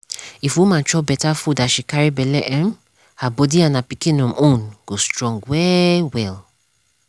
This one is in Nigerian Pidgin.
if woman chop beta food as she carry belle um her body and her pikin um own go strong well well.